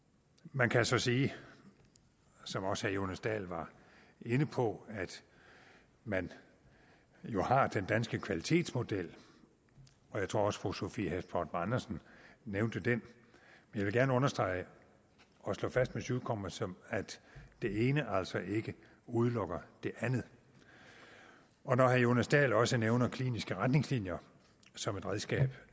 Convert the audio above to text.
man kan så sige som også herre jonas dahl var inde på at man jo har den danske kvalitetsmodel og jeg tror også at fru sophie hæstorp andersen nævnte den jeg vil gerne understrege og slå fast med syvtommersøm at det ene altså ikke udelukker det andet og når herre jonas dahl også nævner kliniske retningslinjer som et redskab